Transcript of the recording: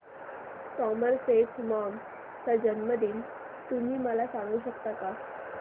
Somerset Maugham चा जन्मदिन तुम्ही मला सांगू शकता काय